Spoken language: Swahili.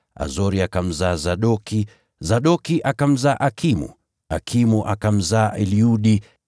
Azori akamzaa Sadoki, Sadoki akamzaa Akimu, Akimu akamzaa Eliudi,